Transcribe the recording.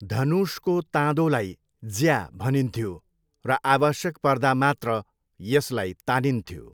धनुषको ताँदोलाई ज्या भनिन्थ्यो र आवश्यक पर्दा मात्र यसलाई तानिन्थ्यो।